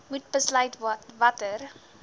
moet besluit watter